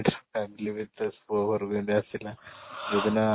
family ବି ସେ ପୁଅ ଘରକୁ ଏମିତି ଆସିଲା ଯୋଉ ଦିନ